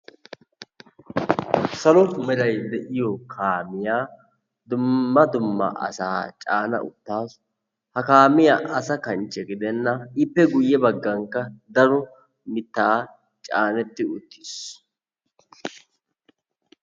Salo meray de'iyo kaamiyaa dumma dumma asa caana uttasu. Ha kaamiyaa asaa kanchche gidenan ippe guye baggaankka mitta caanetti uttiis.